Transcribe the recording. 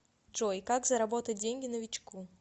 джой как заработать деньги новичку